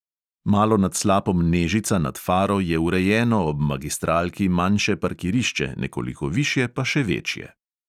Malo nad slapom nežica nad faro je urejeno ob magistralki manjše parkirišče, nekoliko višje pa še večje.